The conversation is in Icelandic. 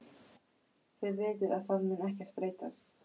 Þið vitið að það mun ekkert breytast.